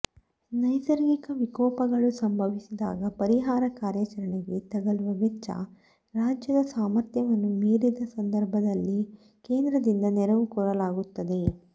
ನೈಸರ್ಗಿಕ ವಿಕೋಪಗಳು ಸಂಭವಿಸಿದಾಗ ಪರಿಹಾರ ಕಾರ್ಯಾಚರಣೆಗೆ ತಲುಗುವ ವೆಚ್ಚ ರಾಜ್ಯದ ಸಾಮರ್ಥ್ಯವನ್ನು ಮೀರಿದ ಸಂದರ್ಭದಲ್ಲಿ ಕೇಂದ್ರದಿಂದ ನೆರವು ಕೋರಲಾಗುತ್ತದೆ